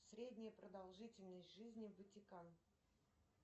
средняя продолжительность жизни ватикан